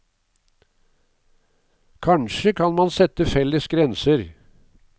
Kanskje kan man sette felles grenser.